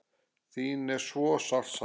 Þín er svo sárt saknað.